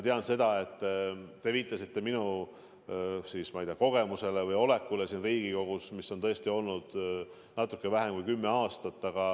Te viitasite minu kogemusele või olemisele siin Riigikogus, mida on tõesti olnud natuke vähem kui kümme aastat.